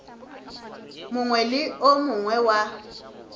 mongwe le o mongwe wa